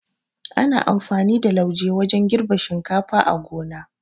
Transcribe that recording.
Ana amfani da lauje wajan girbe shinkafa a gona